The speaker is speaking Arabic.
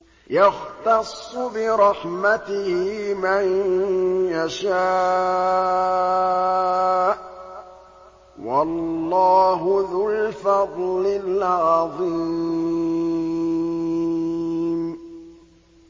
يَخْتَصُّ بِرَحْمَتِهِ مَن يَشَاءُ ۗ وَاللَّهُ ذُو الْفَضْلِ الْعَظِيمِ